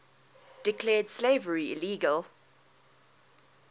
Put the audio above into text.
declared slavery illegal